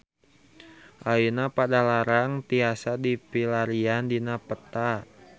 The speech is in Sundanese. Ayeuna Padalarang tiasa dipilarian dina peta